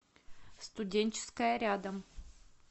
студенческая рядом